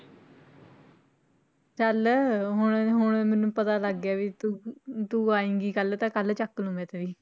ਚੱਲ ਹੁਣ ਹੁਣ ਮੈਨੂੰ ਪਤਾ ਲੱਗ ਗਿਆ ਵੀ ਤੂੰ ਅਮ ਤੂੰ ਆਏਂਗੀ ਕੱਲ੍ਹ ਤਾਂ ਕੱਲ੍ਹ ਚੁੱਕ ਲਊਂ ਮੈਂ ਤੇਰੀ।